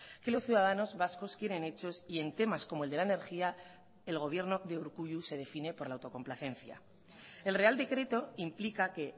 que los ciudadanos vascos quieren hechos y en temas como el de la energía el gobierno de urkullu se define por la autocomplacencia el real decreto implica que